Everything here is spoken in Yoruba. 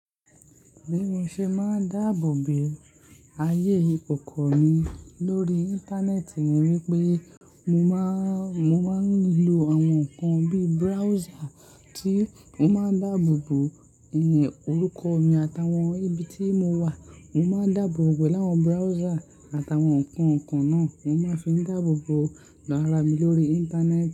Bí mo ṣe máa ń dáàbò bo ayé ìkòkò mi lórí Íńtánẹ́ẹ̀tì ni wípé mo máa ń, mo máa ń lo àwọn nnkan bí browser tí mo máa ń dáàbò bo ẹ̀yin orúkọ mi àtàwọn ibi tí mo wà. Mo máa ń dáàbò bo ọ̀gbẹ̀ láwọn browser àtàwọn nnkan kan náà mo máa ń fi dáàbò bo rárá mi lórí Íńtánẹ́ẹ̀tì.